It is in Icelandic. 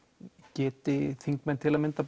geti þingmenn til að mynda